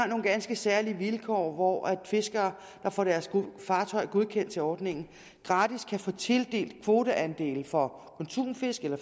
nogle ganske særlige vilkår hvor fiskere der får deres fartøjer godkendt til ordningen gratis kan få tildelt kvoteandele for konsumfisk eller